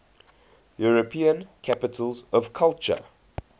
european capitals of culture